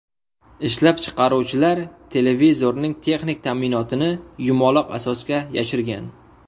Ishlab chiqaruvchilar televizorning texnik ta’minotini yumaloq asosga yashirgan.